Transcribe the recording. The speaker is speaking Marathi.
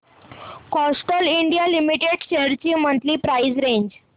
कॅस्ट्रॉल इंडिया लिमिटेड शेअर्स ची मंथली प्राइस रेंज